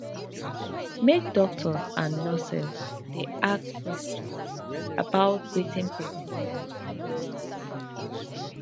make doctors and nurses dey ask question about wetin person need um spritually